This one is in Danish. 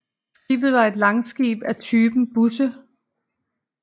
Skibet var en langskib af typen busse